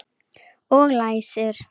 Og læsir.